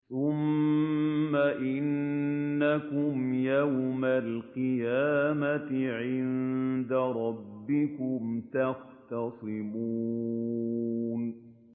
ثُمَّ إِنَّكُمْ يَوْمَ الْقِيَامَةِ عِندَ رَبِّكُمْ تَخْتَصِمُونَ